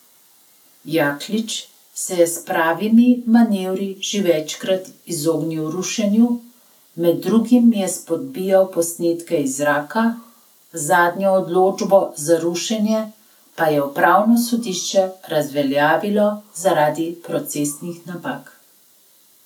Jaklič se je s pravnimi manevri že večkrat izognil rušenju, med drugim je spodbijal posnetke iz zraka, zadnjo odločbo za rušenje pa je upravno sodišče razveljavilo zaradi procesnih napak.